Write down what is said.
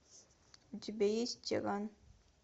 у тебя есть тиран